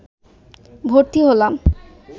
ভর্তি হলাম